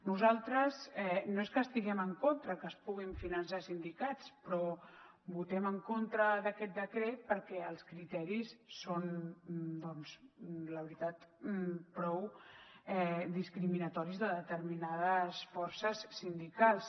nosaltres no és que estiguem en contra que es puguin finançar sindicats però votem en contra d’aquest decret perquè els criteris són doncs la veritat prou discriminatoris de determinades forces sindicals